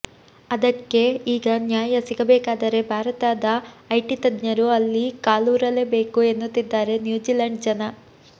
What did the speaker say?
ಅದಕ್ಕೆ ಈಗ ನ್ಯಾಯ ಸಿಗಬೇಕಾದರೆ ಭಾರತದ ಐಟಿ ತಜ್ಞರು ಅಲ್ಲಿ ಕಾಲೂರಲೇಬೇಕು ಎನ್ನುತ್ತಿದ್ದಾರೆ ನ್ಯೂಜಿಲ್ಯಾಂಡ್ ಜನ